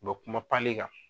bɛ kuma kan.